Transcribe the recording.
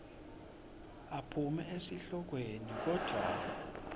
aphume esihlokweni kodvwa